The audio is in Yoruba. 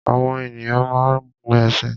Àwọn ènìyàn máa ń gun ẹṣin